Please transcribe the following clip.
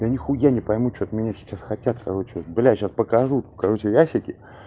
я нихуя не пойму что от меня сейчас хотят короче бля сейчас покажу короче в ящике